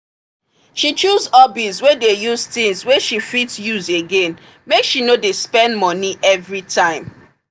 she choose hobbies wey dey use things wey she fit use again make she no dey spend money every time.